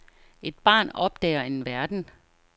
Et barn opdager en verden.